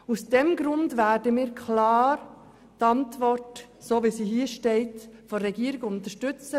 Aus diesem Grund werden wir klar die Antwort der Regierung, so wie sie hier steht, unterstützen.